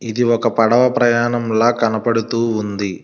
ఇది ఒక పడవ ప్రయాణంలా కనపడుతూ ఉంది.